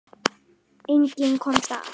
Enginn komst af.